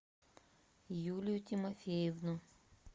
юлию тимофеевну